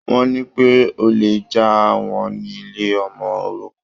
Wọ́n ní pé olè jà wọ́n ní ilé ọmọ-òrukàn.